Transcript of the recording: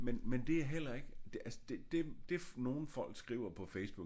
Men men det er heller ikke det altså det det nogle folk skriver på Facebook